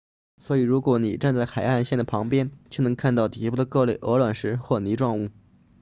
所以如果你站在海岸线旁边就能看到底部的各类鹅卵石或泥状物